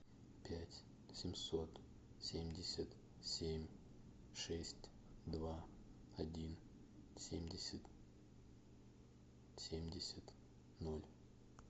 пять семьсот семьдесят семь шесть два один семьдесят семьдесят ноль